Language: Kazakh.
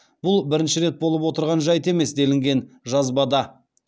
бұл бірінші рет болып отырған жайт емес делінген жазбада